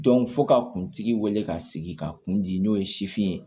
fo ka kuntigi wele ka sigi ka kun di n'o ye sifin ye